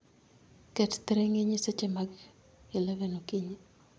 Ket thiring'inyi seche mag 11 okinyi.